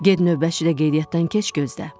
Get növbəçi də qeydiyyatdan keç gözlə.